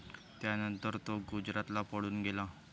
त्यानंतर तो गुजरातला पळून गेला.